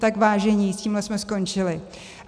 Tak vážení, s tímhle jsme skončili!